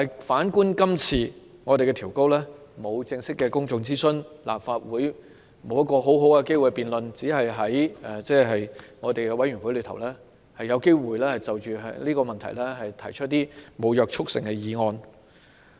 反觀今次調高門檻，並沒有正式進行公眾諮詢，立法會沒有機會好好辯論，只能在委員會就這項議題提出沒有約束力的議案。